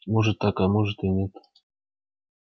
может так а может и нет